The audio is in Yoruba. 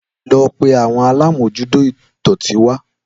Lọ pé àwọn alamojuto idọti wa